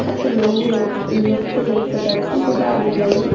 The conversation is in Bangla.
একটা লোগও লোককেও দেখতে পাচ্ছি যে দাঁড়িয়ে দাঁড়িয়ে--